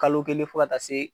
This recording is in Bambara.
Kalo kelen fɔ ka taa se